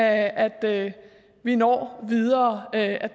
at vi når videre ad